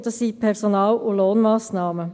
es sind Personal- und Lohnmassnahmen.